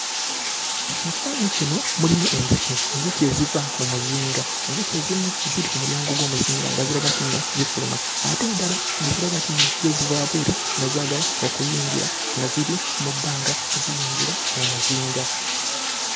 Mu kifaananyi kino mulimu enjuki, enjuki eziva mu muzinga. Enjuki ezimu ziri ku mulyango gw'omuzinga nga ziraga nti nno zifuluma. Ate endala ne ziraga nti nno zo ziva wabweru nga zaagala okuyingira nga ziri mu bbanga ziyingira mu muzinga.